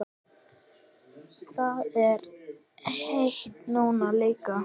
Það er heitt núna líka.